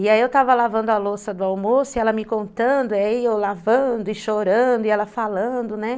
E aí eu tava lavando a louça do almoço e ela me contando, aí eu lavando e chorando e ela falando, né.